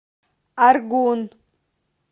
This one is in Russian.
аргун